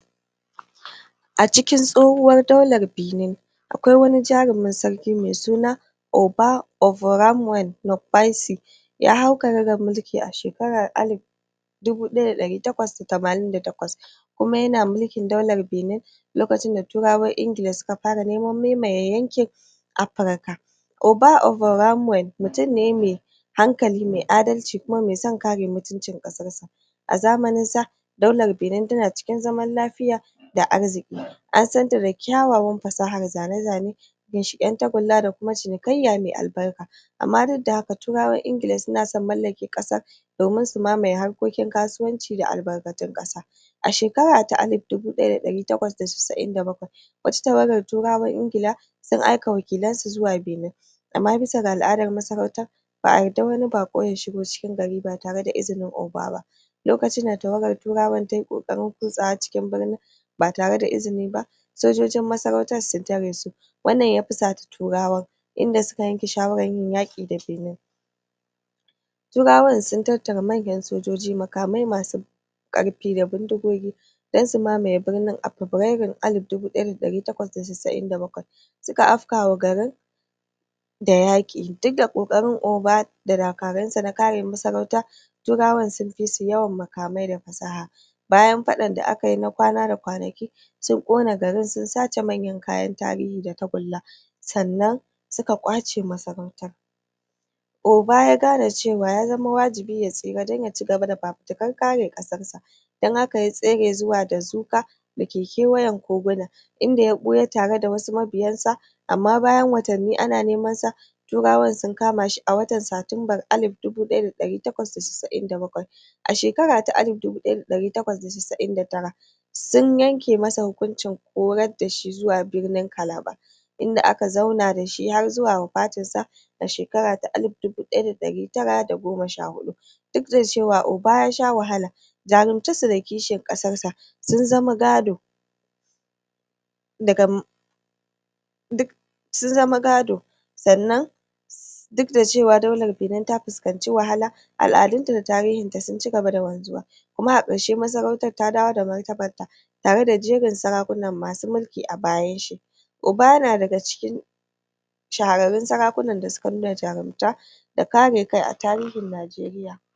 A cikin tsohuwar daular Benin akwai wani jarumin sarki mai suna oba ovoramwen wokpaisi ya hau karagar mulki a shekarar alif dubu ɗaya da ɗari takwas da tamanin da takwas kuma yana mulkin daular benin lokacin da turawan ingila suka fara neman mamaye yankin afrika. Oba ovoramwen mutum ne mai hankali mai adalci kuma mai son kare mutuncin ƙasar sa A zamanin sa daular benin tana cikin zaman lafiya da arziƙi An santa da kyawawan fasahar zane-zane tagulla da kuma cinikaiyya mai albarka. amma duk da haka turawan ingila suna son mallake ƙasar domin su mamaye harkokin kasuwanci da albarkatun ƙasa. A shekara ta alif dubu ɗaya da ɗari takwas da casa'in da bakwai wata tawagar turawan ingila sun aika wakilan su zuwa benin amma bisa ga al'adar masarautar ba'a yarda wani baƙo ya shigo cikin gari ba tare da izinin Oba ba. Lokacin da tawagar turawan tayi ƙoƙarin kutsawa cikin birnin, ba tareda izini ba sojojin masarautar sun tare su. Wannan fusata turawan. inda suka yanke shawarar yin yaƙi da benin. Turawan sun tattara muggan sojoji makamai masu ƙarfi da bindigogi Don su mamaye birnin a febrairun alfi dubu ɗaya da ɗari twakwas da cisi'in da bakwai. Suka afkawa garin da yaƙi dukda ƙoƙarin Oba da dakaran sa na kare masarauta turawan sun fisu yawan makamai da fasaha bayan faɗan da akayi na kwana da kwanaki sun ƙona garin sun sace manyan kayan tarihi da tagulla sannan suka ƙwace masarautar. Oba ya gane cewa ya zama wajibi ya tsira don ya ci gaba da fafutukar kare ƙasar sa don haka ya tsere zuwa dazuka dake kewayen koguna inda ya ɓuya tareda wasu mabiyan sa amma bayan watanni ana nemansa turawan sun kamashi a watan satinbar alif dubu ɗaya da ɗari takwas da cisi'in da bakwai. a shekara ta alif dubu ɗaya da ɗari takwas da cisi'in da tara sun yanke masa hukuncin horar dashi zuwa birnin kalaba inda aka zauna dashi har zuwa wafatin sa a shekara ta alif dubu ɗaya da ɗari tara da goma sha huɗu. Dukda cewa Oba yasha wahala jarumtar sa da kishin ƙasar sa sun zama gado daga sun zama gado sannan dukda cewa daular benin ta fuskanci wahala al'adun ta da tarihin ta sun ci gaba da wanzuwa kuma a ƙarshe masarautar ta dawo da martabar ta. Tare da jerin sarakuna masu mulki a bayan shi Oba yana daga cikin shahararrun sarakunan da suka nuna jarumta, da kare kai a tarihin Najeriya.